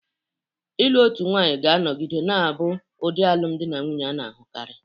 Ịlụ otu nwanyị ga-anọgide na-abụ ụdị alụmdi na nwunye a na-ahụkarị.